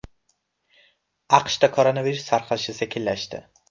AQShda koronavirus tarqalishi sekinlashdi.